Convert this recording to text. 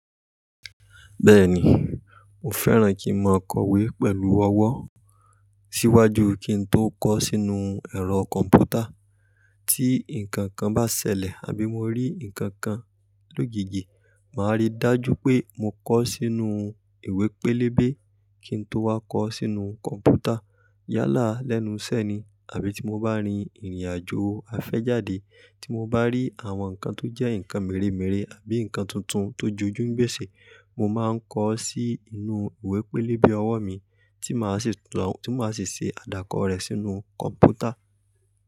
Bẹ́ẹ̀ni, mo fẹ́ràn kí n mọ ọkọ̀wé pẹ̀lú ọwọ́ síwájú kí n tó kọ sínú ẹ̀rọ kọ̀m̀pútà. Tí nǹkan kan bá ṣẹlẹ̀ àbí mo rí nǹkan kan lóògègè, màá rí i dájú pé mo kọ ó sínú ìwé pélébé kí n tó wá kọ ó sínú kọ̀m̀pútà. Yálà lẹ́nu iṣẹ́ ni àbí tí mo bá rin ìrìnàjò afẹ́jàde, tí mo bá rí àwọn nǹkan tó jẹ́ nǹkan mèremère àbí nǹkan tuntun tó jójúǹgbésè, mo máa ń kọ ó sínú ìwé pélébé ọwọ́ mi tí màá sì ṣe àdàkọ rẹ̀ sínú kọ̀m̀pútà.